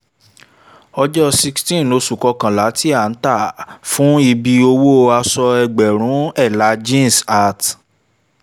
̣ojọ́ sixteen oṣù kọkànlá ti a ta fun ibi òwò aṣ̣ọ egḅèrún ̣èla jeans at